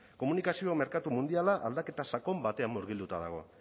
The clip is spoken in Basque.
komunikazio merkatu mundiala aldaketa sakon batean murgilduta dago